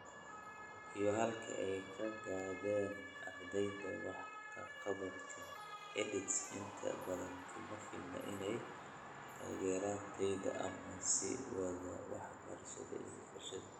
Iyo halka ay ka gaadheen ardyada, wax ka qabadka EdTech inta badan kuma filna inay taageeraan tayada ama sii wadida waxbarida iyo barashada.